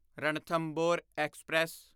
Ranthambore express